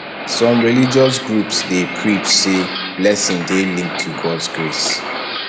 some religious groups dey preach sey blessing dey linked to gods grace